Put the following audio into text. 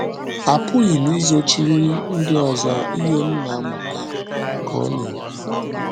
“ Apụghị m izochiri ndị ọzọ ihe m na na - amụta, ” ka ọ na - ekwu